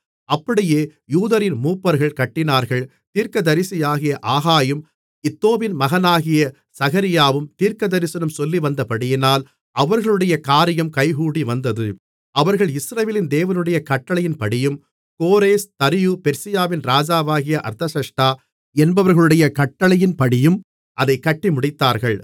அப்படியே யூதரின் மூப்பர்கள் கட்டினார்கள் தீர்க்கதரிசியாகிய ஆகாயும் இத்தோவின் மகனாகிய சகரியாவும் தீர்க்கதரிசனம் சொல்லிவந்தபடியினால் அவர்களுடைய காரியம் கைகூடிவந்தது அவர்கள் இஸ்ரவேலின் தேவனுடைய கட்டளையின்படியும் கோரேஸ் தரியு பெர்சியாவின் ராஜாவாகிய அர்தசஷ்டா என்பவர்களுடைய கட்டளையின்படியும் அதைக் கட்டி முடித்தார்கள்